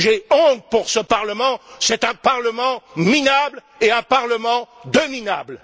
J'ai honte pour ce Parlement, c'est un Parlement minable et un Parlement de minables.